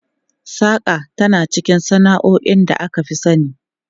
Saƙa tana cikin sana'o'in da aka fi sani.